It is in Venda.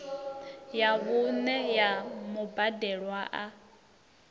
ya vhuṋe ya mubadelwa a